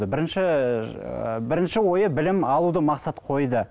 бірінші ы бірінші ойы білім алуды мақсат қойды